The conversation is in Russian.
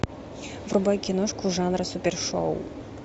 врубай киношку жанра супершоу